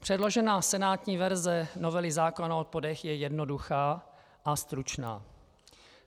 Předložená senátní verze novely zákona o odpadech je jednoduchá a stručná.